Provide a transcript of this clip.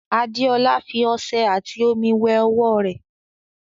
Adeola fi ọṣẹ ati omi wẹ ọwọ rẹ